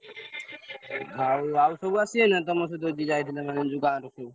ଆଉ ଆଉ ସବୁ ଆସିବେ ନା ତମର ସେପଟୁ ଯିଏ ଯାଇଥିଲେ ମାନେ ଯୋଉ ଗାଁରୁ ସବୁ?